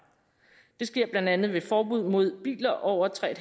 det sker blandt andet ved forbud mod biler over tre